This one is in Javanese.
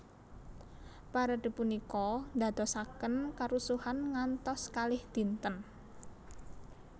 Parade punika ndadosaken karusuhan ngantos kalih dinten